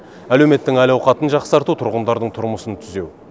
әлеуметтің әл ауқатын жақсарту тұрғындардың тұрмысын түзеу